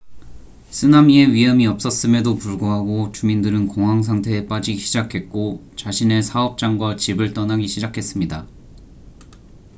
쓰나미의 위험이 없었음에도 불구하고 주민들은 공황 상태에 빠지기 시작했고 자신의 사업장과 집을 떠나기 시작했습니다